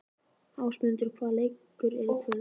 Ásmundur, hvaða leikir eru í kvöld?